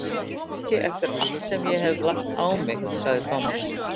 Ekki eftir allt sem ég hef lagt á mig, sagði Thomas.